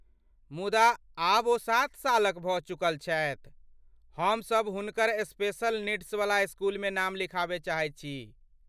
मुदा, आब ओ सात सालक भऽ चुकल छथि, हमसब हुनकर स्पेशल नीड्सवला इस्कूलमे नाम लिखयबा चाहैत छी।